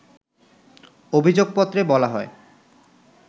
অভিযোগপত্রে বলা হয়